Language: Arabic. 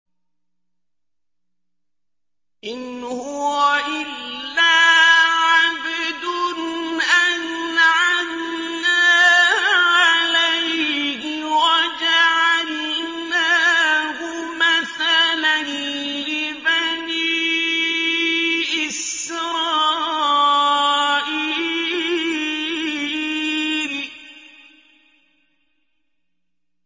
إِنْ هُوَ إِلَّا عَبْدٌ أَنْعَمْنَا عَلَيْهِ وَجَعَلْنَاهُ مَثَلًا لِّبَنِي إِسْرَائِيلَ